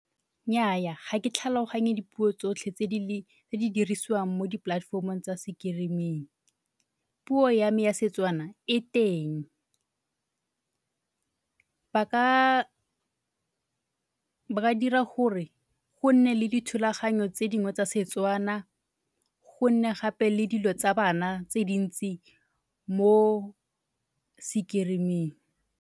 Nnyaya, ga ke tlhaloganye dipuo tsotlhe tse di dirisiwang mo di-platform-ong tsa screen-ing. Puo ya me ya Setswana e teng. Ba ka, ba ka dira gore go nne le dithulaganyo tse dingwe tsa Setswana, go nne gape le dilo tsa bana tse dintsi mo screen-ing.